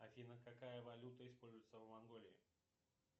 афина какая валюта используется в монголии